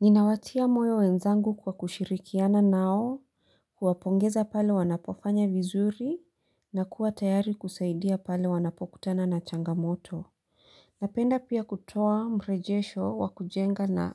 Ninawatia moyo wenzangu kwa kushirikiana nao, kuwapongeza pale wanapofanya vizuri, na kuwa tayari kusaidia pale wanapokutana na changamoto. Napenda pia kutoa mrejesho wakujenga na